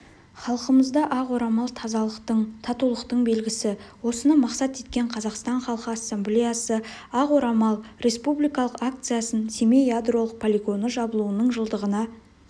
халқымызда ақ орамал тазалықтың татулықтың белгісі осыны мақсат еткен қазақстан халқы ассамблеясы ақ орамал республикалық акциясын семей ядролық полигоны жабылуының жылдығына